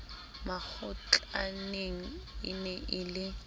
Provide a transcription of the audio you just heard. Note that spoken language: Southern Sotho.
makgotlaneng e ne e le